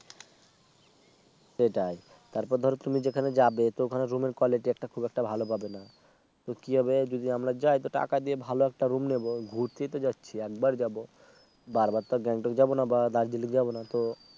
সেটাই তারপর ধরো তুমি যেখানে যাবে তো ওখানে Room এর Quality একটা খুব একটা ভালো পাবে না তো কি হবে যদি আমরা যাই টাকা দিয়ে ভালো একটা Room নেব ঘুরতেই তো যাচ্ছি একবার যাব বারবার তার Gangtok যাব না বা Darjeeling যাব না তো